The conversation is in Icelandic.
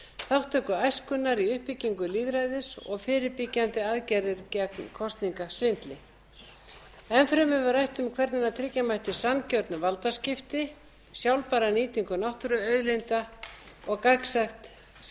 þátttöku æskunnar í uppbyggingu lýðræðis og fyrirbyggjandi aðgerðir gegn kosningasvindli enn fremur var rætt um hvernig tryggja mætti sanngjörn valdaskipti sjálfbæra nýtingu náttúruauðlinda og